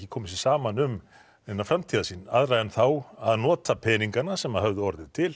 komið sér saman um neina framtíðarsýn aðra en þá að nota peningana sem höfðu orðið til